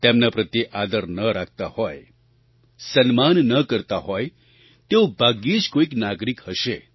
તેમના પ્રત્યે આદર ન રાખતા હોય સન્માન ન કરતા હોય તેવો ભાગ્યે જ કોઈ નાગરિક હશે